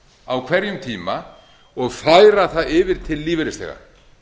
á hverjum tíma og færa það yfir til lífeyrisþega